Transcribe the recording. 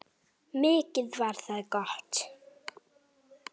Mikið var það gott.